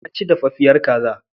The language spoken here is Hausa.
Wa ya ci dafaffiyar kaza?